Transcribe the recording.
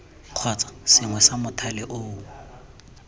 kgotsa sengwe sa mothale oo